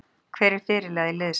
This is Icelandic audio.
Hver er fyrirliði liðsins?